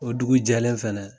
O dugu jɛlen fɛnɛ